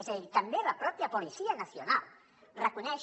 és a dir també la pròpia policía nacional reconeix